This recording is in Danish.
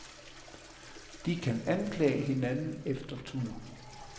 De kan anklage hinanden efter tur.